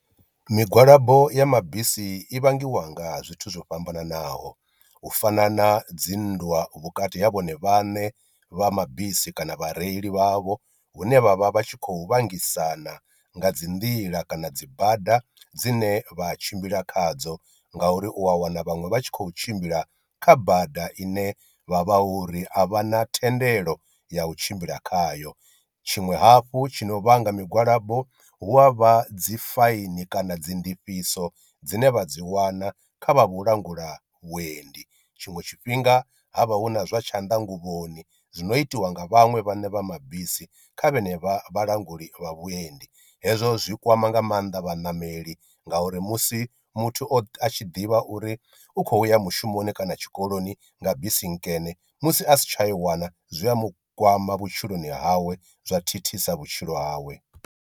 Migwalabo ya mabisi i vhangiwa nga zwithu zwo fhambananaho u fana na dzinndwa vhukati ha vhone vhaṋe vha mabisi kana vhareili vhavho, hune vhavha vhatshi khou vhengisana nga dzi nḓila kana dzi bada dzine vha tshimbila khadzo nga uri u a wana vhaṅwe vha tshi khou tshimbila kha bada ine vha vha hu ri a vha na thendelo ya u tshimbila khayo. Tshiṅwe hafhu tshi no vhanga migwalabo hu a vha dzi faini kana dzi ndifhiso dzine vha dzi wana kha vha vhu langula vhuendi, tshiṅwe tshifhinga ha vha hu na zwa tshanḓanguvhoni no itiwa nga vhaṅwe vhane vha mabisi kha vhene vha vhalanguli vha vhuendi, hezwo zwi kwama nga mannḓa vhaṋameli ngauri musi muthu o a tshi ḓivha uri u khou ya mushumoni kana tshikoloni nga bisi nkene musi a si tsha i wana zwi a mu kwama vhutshiloni hawe zwa thithisa vhutshilo hawe.